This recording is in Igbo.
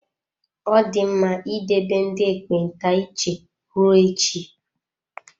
Ọ dị mma idebe ndị ekpenta iche ruo echi.